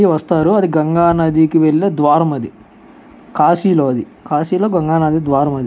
ఇది వస్తారు. అది గంగ నదికి వెళ్ళే ద్వారం అది కాశీలో అది. కాశీలో గంగానది ద్వారం అది.